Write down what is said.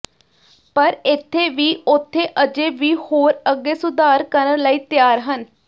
ਪਰ ਇੱਥੇ ਵੀ ਉਥੇ ਅਜੇ ਵੀ ਹੋਰ ਅੱਗੇ ਸੁਧਾਰ ਕਰਨ ਲਈ ਤਿਆਰ ਹਨ